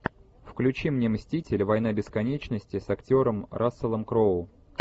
включи мне мстители война бесконечности с актером расселом кроу